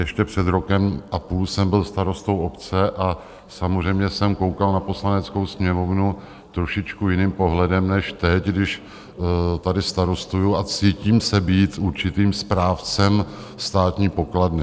Ještě před rokem a půl jsem byl starostou obce a samozřejmě jsem koukal na Poslaneckou sněmovnu trošičku jiným pohledem než teď, když tady starostuji a cítím se být určitým správcem státní pokladny.